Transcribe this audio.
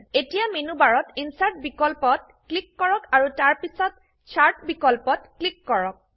এতিয়া মেনুবাৰত ইনচাৰ্ট বিকল্পত ক্লিক কৰক আৰু তাৰপিছত চাৰ্ট বিকল্পত ক্লিক কৰক